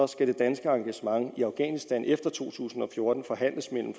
skal det danske engagement i afghanistan efter to tusind og fjorten forhandles med